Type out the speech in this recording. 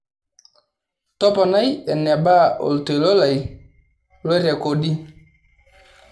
toponai enaba oltoilo lai loirekodi